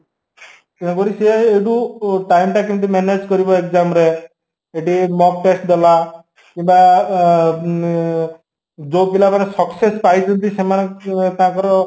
ତେଣୁକରି ସେ ଯୋଉ time ଟା କେମିତି manage କରିବା EXAMରେ ଏଠି mock test ଦେଲା କିମ୍ବା ଅଂ ଉଁ ଯୋଉ ପିଲାମାନେ success ପାଇଛନ୍ତି ସେମାନେ ତାଙ୍କର